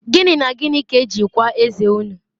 Gini na Gini ka eji kwaa eze unu?